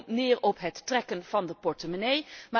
Dat komt neer op het trekken van de portemonnee.